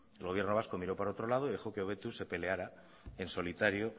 el gobierno vasco miró para otro lado y dejó que hobetuz se peleara en solitario